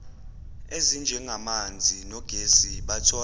ezinjengamanzi nogesi bathola